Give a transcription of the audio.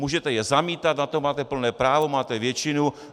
Můžete je zamítat, na to máte plné právo, máte většinu.